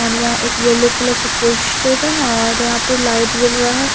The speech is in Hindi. और यहां एक येलो कलर का पोस्टर है और यहां पे लाइट जल रहा है।